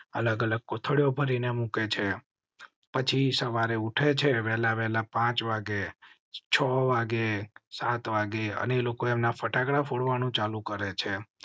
અલગ અલગ કોઠડીયો ભરીને મુકે છે સવારે વેલ આવેલા પાંચ વાગે છ વાગે સાત વાગે અને લોકોએ ફટાકડા ફોડવા નું ચાલુ કરેં છે.